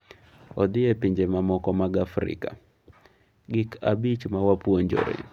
Odhi e pinje mamoko mag Afrika: Gik abich ma wapuonjore